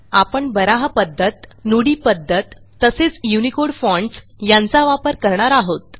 आपण बारहा पध्दत नुडी पध्दत तसेच युनिकोड फॉन्ट्स यांचा वापर करणार आहोत